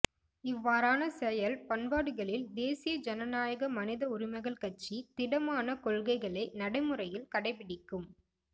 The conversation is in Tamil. இவ்வாறான செயல் பண்பாடுகளில் தேசிய ஜனநாயக மனித உரிமைகள் கட்சி திடமான கொள்கைகளை நடை முறையில் கடைப் பிடிக்கும்